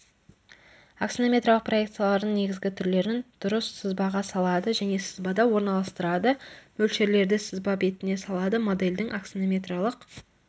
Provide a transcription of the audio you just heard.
аксонометриялық проекциялардың негізгі түрлерін дұрыс сызбаға салады және сызбада орналастырады мөлшерлерді сызба бетіне салады модельдің аксонометриялық